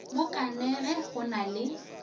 mo kanege go na le